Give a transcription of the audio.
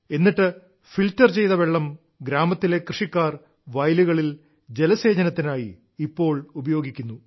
എന്നിട്ട് ഫിൽട്ടർ ചെയ്ത ഈ വെള്ളം ഇപ്പോൾ ഗ്രാമത്തിലെ കൃഷിക്കാർ വയലുകളിൽ ജലസേചനത്തിനായി ഉപയോഗിക്കുന്നു